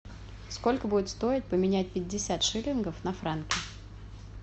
сколько будет стоить поменять пятьдесят шиллингов на франки